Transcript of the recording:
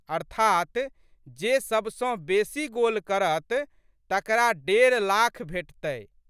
अर्थात् जे सबसँ बेशी गोल करत तकरा डेढ़ लाख भेटतै।